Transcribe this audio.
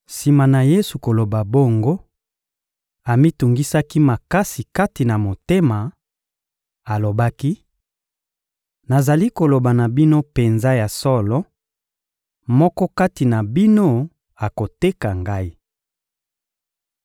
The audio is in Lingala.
Sima na Yesu koloba bongo, amitungisaki makasi kati na motema; alobaki: — Nazali koloba na bino penza ya solo: moko kati na bino akoteka Ngai.